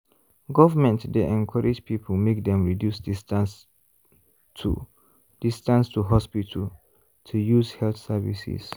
government dey encourage people make dem reduce distance to distance to hospital to use health services.